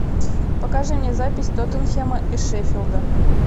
покажи мне запись тоттенхэма и шеффилда